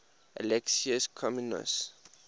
alexius comnenus